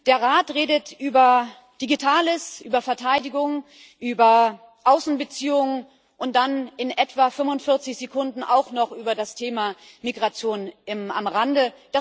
Der Rat redet über Digitales, über Verteidigung, über Außenbeziehungen und dann in etwa 45 Sekunden auch noch über das Thema Migration am Rande.